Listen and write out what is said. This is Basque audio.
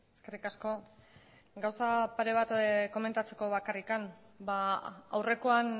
eskerrik asko gauza pare bat komentatzeko bakarrik aurrekoan